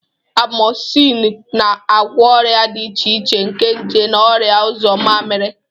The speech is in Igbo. Amozinu na-agwọ ọrịa dị iche iche nke nje na ọrịa uzo mamiri.